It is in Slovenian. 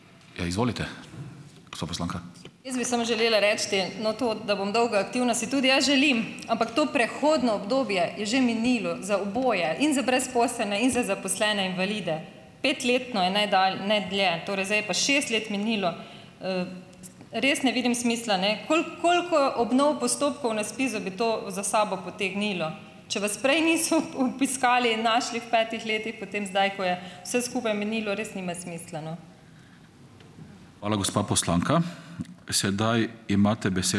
Jaz bi samo želela reči, no, to, da bom dolgo aktivna, si tudi jaz želim, ampak to prehodno obdobje je že minilo, za oboje - in za brezposelne in za zaposlene invalide, petletno je ne, dlje, torej zdaj je pa šest let minilo. Res ne vidim smisla, ne. koliko obnov postopkov na ZPIZ-u bi to za sabo potegnilo? Če vas prej niso obiskali, našli v petih letih, potem zdaj, ko je vse skupaj minilo, res nima smisla, no.